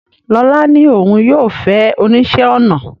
Lola ní òun yóò fẹ́ oníṣẹ́-ọnà